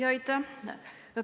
Aitäh!